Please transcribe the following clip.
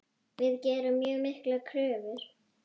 Við gerum mjög miklar kröfur.